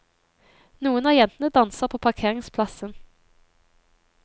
Noen av jentene danser på parkeringsplassen.